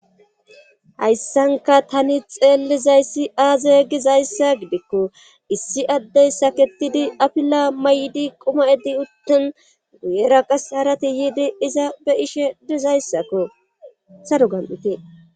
Hayssanka tani xeellizayssi aazay gizayssa gidikko issi addeyssa kettidi apila may7di quma7edi uttin guyera qas harati yiidi iza be ishe dizayssakko saro gam7ite